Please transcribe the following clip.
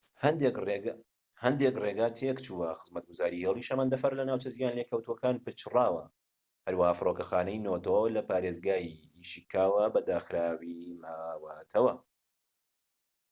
هەندێک ڕێگا تێکچووە خزمەتگوزاری هێڵی شەمەندەفەر لە ناوچە زیانلێکەوتوەکان پچڕاوە هەروەها فڕۆکەخانەی نۆتۆ لە پارێزگای ئیشیککاوە بە داخراوی ماوەتەوە